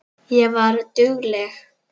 Ég var dugleg.